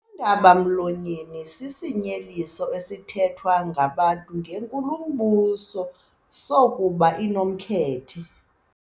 Undaba-mlonyeni sisinyeliso esithethwa ngabantu ngenkulumbuso sokuba inomkhethe.